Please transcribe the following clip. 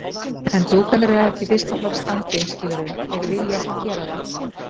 En dúkarnir eru ekki í fyrsta flokks standi, skilurðu. þeir vilja ekki gera það.